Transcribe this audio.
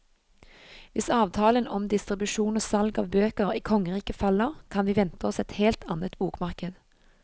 Hvis avtalen om distribusjon og salg av bøker i kongeriket faller, kan vi vente oss et helt annet bokmarked.